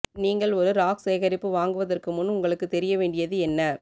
நீங்கள் ஒரு ராக் சேகரிப்பு வாங்குவதற்கு முன் உங்களுக்குத் தெரிய வேண்டியது என்ன